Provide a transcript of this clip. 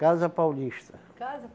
Casa Paulista. Casa?